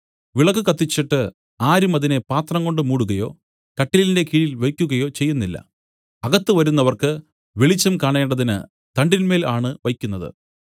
വിളക്കു കത്തിച്ചിട്ട് ആരും അതിനെ പാത്രംകൊണ്ട് മൂടുകയോ കട്ടിലിന്റെ കീഴിൽ വെയ്ക്കുകയോ ചെയ്യുന്നില്ല അകത്ത് വരുന്നവർക്ക് വെളിച്ചം കാണേണ്ടതിന് തണ്ടിന്മേൽ ആണ് വെയ്ക്കുന്നത്